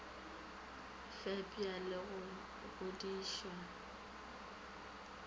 fepša le go go godišwa